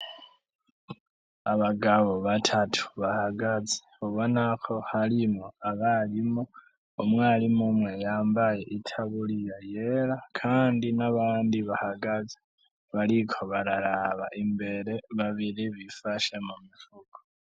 Abagabo batatu bahagaze ubonako harimwo abarimu. Umwarimu umwe yambaye itaburiya yera kandi nabandi bahagaze bariko bararaba imbere babiri bifashe mumifuko.